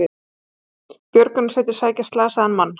Björgunarsveitir sækja slasaðan mann